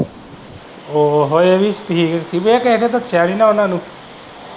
ਓਹੀ ਐ ਪੀ ਕੀ ਪਤਾ ਕਿਸੇ ਨੇ ਦੱਸਿਆ ਨੀ ਉਨਾਂ ਨੂੰ।